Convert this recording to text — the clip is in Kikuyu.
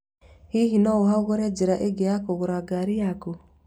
Hihi no ũhagũre njĩra ingĩ ya kũgũra ngari yaku?